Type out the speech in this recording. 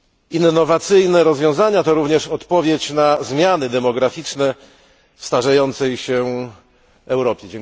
Innowacyjne rozwiązania to również odpowiedź na zmiany demograficzne starzejącej się Europy.